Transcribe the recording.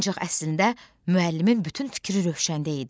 Ancaq əslində müəllimin bütün fikri Rövşəndə idi.